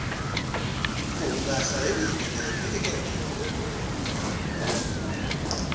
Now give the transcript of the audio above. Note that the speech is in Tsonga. ku hungasa hi vuyimbeleri ekerekeni